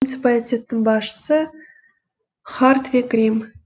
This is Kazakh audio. муниципалитеттің басшысы хартвиг рим